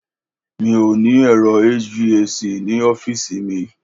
Mi ò ní ẹ̀rọ HVAC ní ọọ́fíìsì mi.